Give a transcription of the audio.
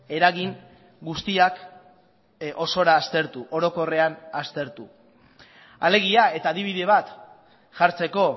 eragin guztiak osora aztertu orokorrean aztertu alegia eta adibide bat jartzeko